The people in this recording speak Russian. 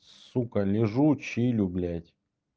сука лежу чилю блядь